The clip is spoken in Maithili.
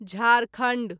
झारखंड